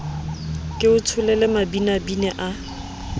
ke o tsholele mabinabine a